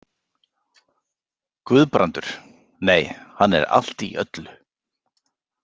Guðbrandur, nei, hann er allt í öllu.